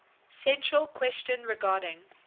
central question regarding